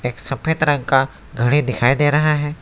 सफेद रंग का घड़ी दिखाई दे रहा है।